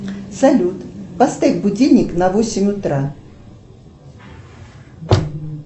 салют поставь будильник на восемь утра